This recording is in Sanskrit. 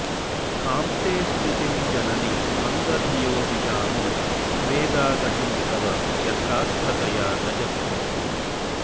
कां ते स्तुतिं जननि मन्दधियो विदामो वेदा गतिं तव यथार्थतया न जग्मुः